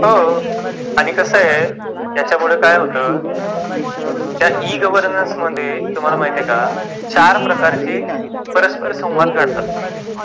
बर ते कोणते ?